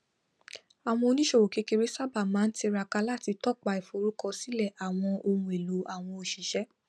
àwọn oníìṣòwò kékeré sábà máa ń tiraka láti tọpa ìforúkọsílẹ àwọn ohun èlò àwọn oṣiṣẹ